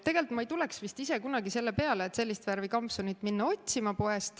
Tegelikult ma ei tuleks vist ise kunagi selle peale, et sellist värvi kampsunit poest otsima minna.